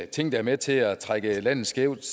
ting der er med til at trække landet skævt